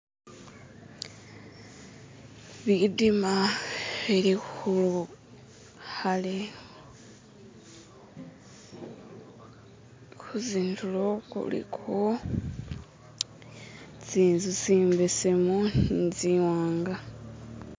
bidima bilihu hale huzinduro kuliko tsinzu tsimbesemu nitsiwanga